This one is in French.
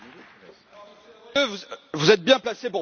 Vous êtes bien placé pour parler, n'est ce pas?